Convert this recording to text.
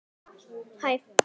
Hafður undir styttu sá.